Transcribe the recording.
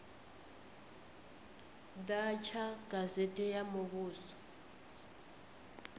ḓa tsha gazete ya muvhuso